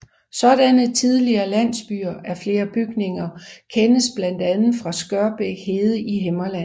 Sådanne tidlige landsbyer af flere bygninger kendes blandt andet fra Skørbæk hede i Himmerland